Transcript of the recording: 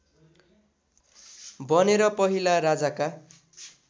बनेर पहिला राजाका